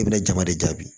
I bɛna jama de jaabi